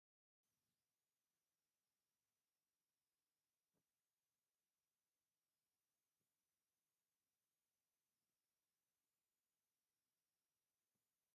ኣብ ከተማ ኣክሱም ሓወልቲ ወይ እንዳማርያም ሰፈር ኮይኑ ኣብ ኮብልስቶን ዝኮነ ናይ ሳዕሪ ነገር ዝተሰርሐ ኣሎ እንተይ ይበሃል ስሙ ?